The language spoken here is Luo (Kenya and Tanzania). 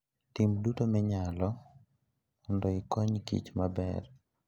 Tim duto minyalo mondo ikony kich maber.